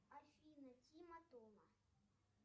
афина тима тома